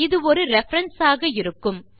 இது ஒரு ரெபரன்ஸ் ஆக இருக்கும்